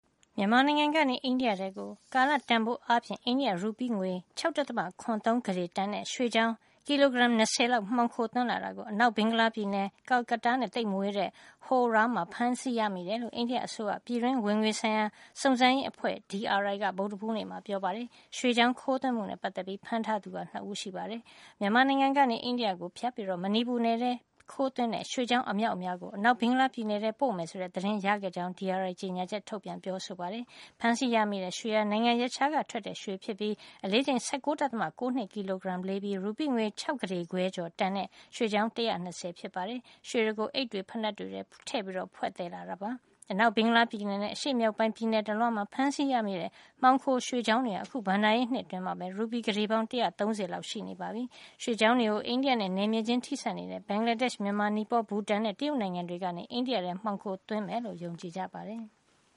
မြန်မာနိုင်ငံကနေ အိန္ဒိယနိုင်ငံထဲကို ကာလတန်ဖိုးအားဖြင့် အိန္ဒိယရူပီငွေ ၆. ၇၃ ကုဋေ တန်တဲ့ ရွှေချောင်း ကီလိုဂရမ် ၂၀ လောက် မှောင်ခိုသွင်းလာတာကို အနောက်ဘင်္ဂလား ပြည်နယ်က Kolkataနဲ့ သိပ်မဝေးတဲ့ Howrah မှာ ဖမ်းဆီးရမိတယ်လို့ အိန္ဒိယအစိုးရ ပြည်တွင်းဝင်ငွေဆိုင်ရာ စုံစမ်းစစ်ဆေးရေးအဖွဲ့ DRI က ဗုဒ္ဓဟူးနေ့မှာ ပြောပါတယ်။ ရွှေချောင်း ခိုးသွင်းမှုနဲ့ ပတ်သက်ပြီး ဖမ်းဆီးထားသူ ၂ ဦးရှိတယ်လို့လည်း ပြောပါတယ်။ မြန်မာနိုင်ငံကနေ အိန္ဒိယနယ်စပ်ကို ဖြတ်ပြီး မဏိပူပြည်နယ်ထဲကို ခိုးသွင်းလာတဲ့ ရွှေချောင်း အမြောက်အများကို အနောက်ဘင်္ဂလားပြည်နယ်ထဲ ပို့မယ်ဆိုတဲ့ သတင်းရခဲ့ကြောင်းလည်း DRI က ကြေညာချက်ထုတ်ပြန်လိုက်ပါတယ်။ ဖမ်းဆီးရမိတဲ့ ရွှေဟာ နိုင်ငံရပ်ခြားက ထွက်တဲ့ ရွှေဖြစ်ပြီး အလေးချိန် ၁၉.၉၂ ကီလိုဂရမ်လေး ပြီး ရူပီငွေ ၆ ကုဋေခွဲကျော်တန်တဲ့ ရွှေချောင်း ၁၂၀ ဖြစ်ပါတယ်။ ရွှေတွေကို အိတ်တွေ၊ ဖိနပ်တွေထဲ ထည့်ဖွက်ပြီး သယ်လာတာပါ။ အနောက်ဘင်္ဂလားပြည်နယ်နဲ့ အရှေ့မြောက်ပိုင်း ပြည်နယ်တလွှားမှာ ဖမ်းဆီးရမိတဲ့ မှောင်ခိုရွှေချောင်း တွေဟာ အခု ဘဏ္ဍာရေးနှစ် အတွင်းမှာပဲ ရူပီ ကုဋေပေါင်း ၁၃၀ လောက် ရှိနေပြီဖြစ်ပါတယ်။ ရွှေချောင်းတွေကို အိန္ဒိယနဲ့ နယ်မြေချင်း ထိစပ်နေတဲ့ ဘင်္ဂလားဒေ့ရှ်၊ မြန်မာ၊ နိပေါ၊ ဘူတန်နဲ့ တရုတ်နိုင်ငံတွေကနေ အိန္ဒိယထဲ မှောင်ခို ခိုးသွင်းမယ်လို့ ယုံကြည်ကြပါတယ်။